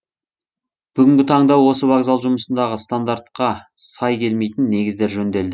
бүгінгі таңда осы вокзал жұмысындағы стандартқа сай келмейтін негіздер жөнделді